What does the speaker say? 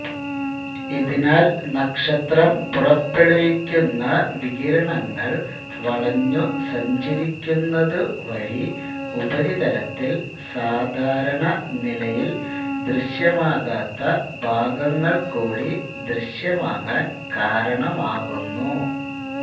ഇതിനാൽ നക്ഷത്രം പുറപ്പെടുവിക്കുന്ന വികിരണങ്ങൾ വളഞ്ഞു സഞ്ചരിക്കുന്നതു വഴി ഉപരിതലത്തിൽ സാധാരണ നിലയിൽ ദൃശ്യമാകാത്ത ഭാഗങ്ങൾക്കൂടി ദൃശ്യമാകാൻ കാരണമാകുന്നു